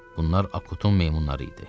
Bunlar Akutun meymunları idi.